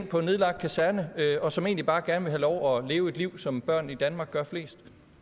på en nedlagt kaserne og som egentlig bare gerne vil have lov at leve et liv som børn i danmark gør fordi